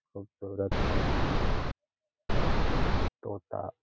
खूबसूरत पक्षी है तोता --